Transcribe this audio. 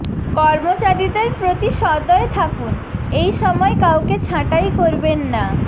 কর্মচারীদের প্রতি সদয় থাকুন এই সময় কাউকে ছাঁটাই করবেন না